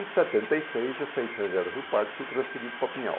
Aí em setenta e seis eu saí de São José do Rio Pardo e fui transferido para Pinhal.